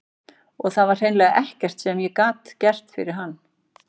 Og það var hreinlega ekkert sem ég gat fyrir hann gert.